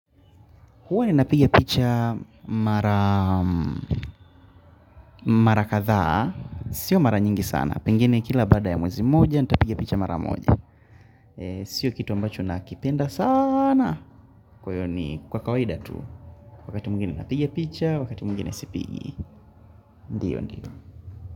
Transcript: Huwa ninapiga picha mara mara kadhaa. Siyo mara nyingi sana pengine kila baada ya mwezi moja nitapiga picha mara moja. Sio kitu ambacho nakipenda saana kwa hiyo ni kwa kawaida tu. Wakati mwingine napigia picha, wakati mwingine sipigi. Ndio, ndio.